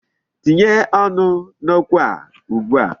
Tinye ọnụ n'okwu a ugbu a.